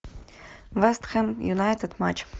вест хэм юнайтед матч